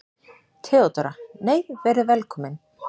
THEODÓRA: Nei, verið velkomin!